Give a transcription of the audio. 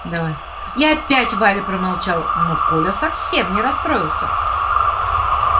давай и опять валя промолчала но коля совсем не расстроился